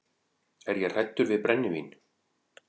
Er ég hræddur við brennivín?